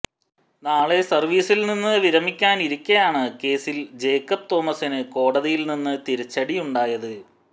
നാളെ സര്വീസില്നിന്ന് വിരമിക്കാനിരിക്കെയാണ് കേസില് ജേക്കബ് തോമസിന് കോടതിയില്നിന്ന് തിരിച്ചടിയുണ്ടായത്